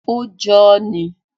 Ó jọ ọ́ ni.